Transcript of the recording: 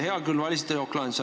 Hea küll, valisite jokk-lahenduse.